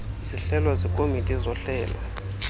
zihlelwa zikomiti zohlelo